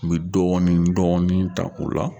N bɛ dɔɔnin dɔɔnin ta u la